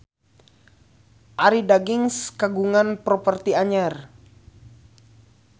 Arie Daginks kagungan properti anyar